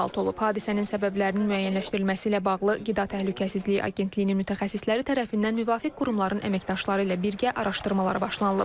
Hadisənin səbəblərinin müəyyənləşdirilməsi ilə bağlı Qida Təhlükəsizliyi Agentliyinin mütəxəssisləri tərəfindən müvafiq qurumların əməkdaşları ilə birgə araşdırmalar başlanılıb.